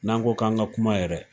N'an ko k'an ka kuma yɛrɛ